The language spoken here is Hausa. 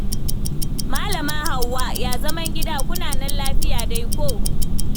Malama Hauwa, ya zaman gida? Kuna nan lafiya dai ko?